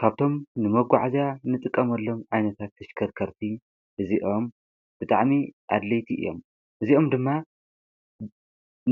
ካብቶም ንመጕዕእዚ ንጥቀመሎም ዓይነታት ተሽከርከርቲ እዚኦም ብጥዕኒ ኣድለይቲ እዮም እዚኦም ድማ